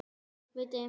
Var þetta víti?